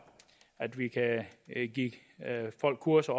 at vi kan give folk kurser